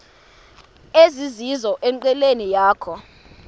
ezizizo enqileni yakho